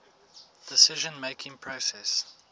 decision making process